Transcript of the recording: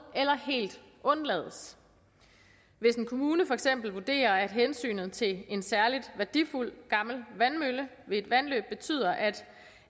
eller helt undlades hvis en kommune for eksempel vurderer at hensynet til en særligt værdifuld gammel vandmølle ved et vandløb betyder at